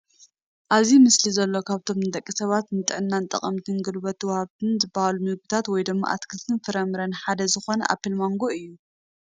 ኣብዚ ምስሊ ዘሎ ካብቶም ንደቂ ሰባት ንጥዕና ጠቐምትን ጉልበት ዋሃብትን ዝባሃሉ ምግብታት ወይ ድማ ኣትክልትን ፍራምረን ሓደ ዝኾነ ኣኘል ማንጎ እዩ፡፡